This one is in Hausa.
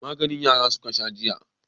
Magani yara suka sha jiya.